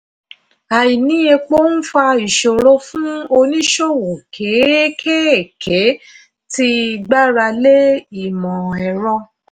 àìní epo ń fa ìṣòro fún oníṣòwò kéékèèké tí gbára lé imọ̀-ẹrọ.